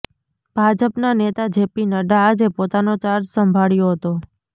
ભાજપના નેતા J P Nadda આજે પોતાનો ચાર્જ સંભાળ્યો હતો